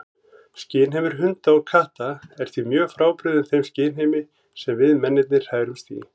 Skynheimur hunda og katta er því mjög frábrugðinn þeim skynheimi sem við mennirnir hrærumst í.